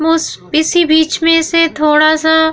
most इसी बीच में से थोड़ा सा --